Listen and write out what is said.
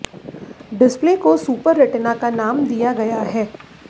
display को super retina का नाम दिया गया है